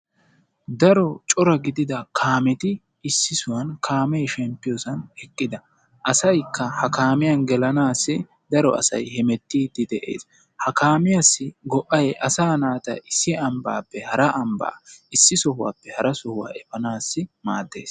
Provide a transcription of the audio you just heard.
Daro cora gidia kaameti issisan kaame shemppiyoosan eqqida. asaykka ha kaamiyaan gelanassi daro hemettide dees. ha kaamisiyaassi go'ay asa naata issi ambbappe hara ambba, sohuwappe hara sohuwaa efanaw maaddees.